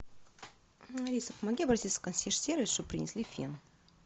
алиса помоги обратиться в консьерж сервис чтобы принесли фен